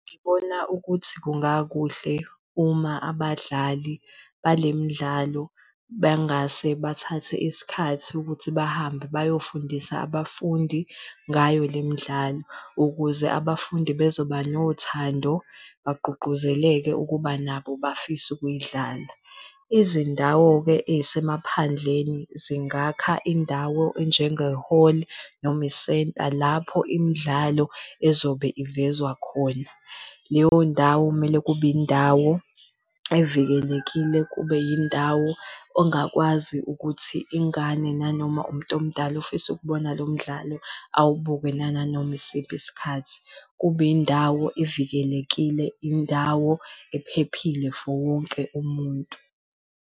Ngibona ukuthi kungakuhle uma abadlali bale midlalo bengase bathathe isikhathi ukuthi bahambe bayofundisa abafundi ngayo le midlalo, ukuze abafundi bezoba nothando bagqugquzeleke ukuba nabo bafise ukuyidlala. Izindawo-ke ey'semaphandleni zingakha indawo enjenge-hall noma isenta lapho imidlalo ezobe ivezwa khona. Leyo ndawo kumele kube indawo evikelekile, kube indawo ongakwazi ukuthi ingane nanoma umntomdala ofisa ukubona lo mdlalo awubuke nanganoma yisiphi isikhathi. kube indawo evikelekile, indawo ephephile for wonke umuntu.